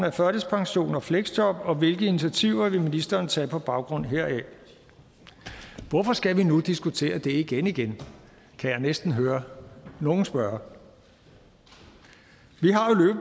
af førtidspension og fleksjob og hvilke initiativer vil ministeren tage på baggrund heraf hvorfor skal vi nu diskutere det igen igen kan jeg næsten høre nogen spørge vi